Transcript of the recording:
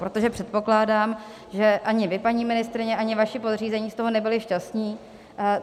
Protože předpokládám, že ani vy, paní ministryně, ani vaši podřízení, z toho nebyli šťastní.